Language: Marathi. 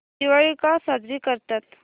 दिवाळी का साजरी करतात